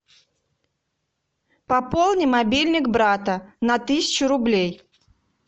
пополни мобильник брата на тысячу рублей